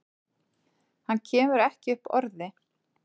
Hann kemur ekki upp orði.